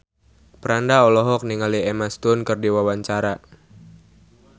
Franda olohok ningali Emma Stone keur diwawancara